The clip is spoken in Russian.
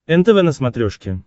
нтв на смотрешке